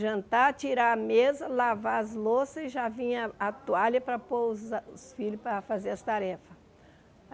Jantar, tirar a mesa, lavar as louças e já vinha a toalha para pôr a os filhos para fazer as tarefas.